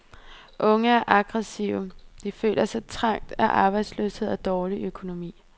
Unge er aggressive, de føler sig trængt af arbejdsløshed og dårlig økonomi.